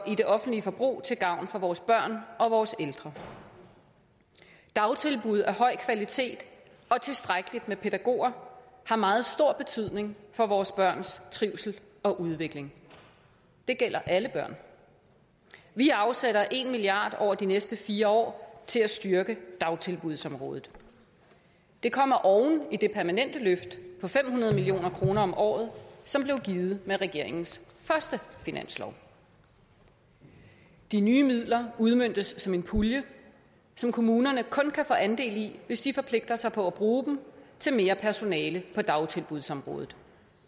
det offentlige forbrug til gavn for vores børn og vores ældre dagtilbud af høj kvalitet og tilstrækkelig med pædagoger har meget stor betydning for vores børns trivsel og udvikling det gælder alle børn vi afsætter en milliard over de næste fire år til at styrke dagtilbudsområdet det kommer oven i det permanente løft på fem hundrede million kroner om året som blev givet med regeringens første finanslov de nye midler udmøntes som en pulje som kommunerne kun kan få andel i hvis de forpligter sig på at bruge dem til mere personale på dagtilbudsområdet